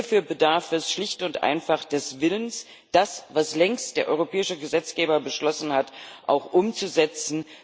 Hierfür bedarf es schlicht und einfach des Willens, das, was der europäische Gesetzgeber längst beschlossen hat, auch umzusetzen.